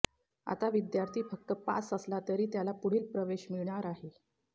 आता विद्यार्थी फक्त पास असला तरी त्याला पुढील प्रवेश मिळणार आहे